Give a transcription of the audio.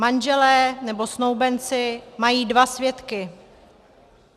Manželé nebo snoubenci mají dva svědky.